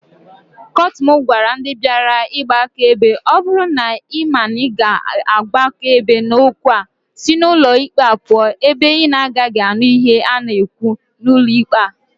Kotuma gwara ndi biara igba akaebe "o buru na ima na I ga-agba akaebe n'okwu a, si n'ulo ikpe a puo ebe inagagi anu ihe a na-ekwu n'ulo ikpe a."